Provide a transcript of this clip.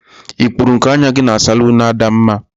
I kpuru nku anya gi na salunu Adamma?